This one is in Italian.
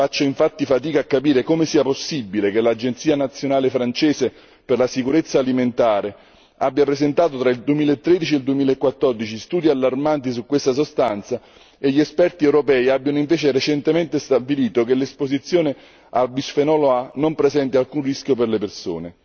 Faccio infatti fatica a capire come sia possibile che l'agenzia nazionale francese per la sicurezza alimentare abbia presentato tra il 2013 e il 2014 studi allarmanti su questa sostanza e gli esperti europei abbiano invece recentemente stabilito che l'esposizione al bisfenolo A non presenta alcun rischio per le persone.